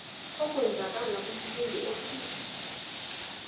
okwenzakala kumfundi othize